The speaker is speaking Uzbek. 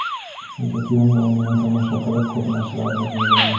Shunchaki uning o‘yinini tomosha qilib, ko‘p narsalarni o‘rganganman.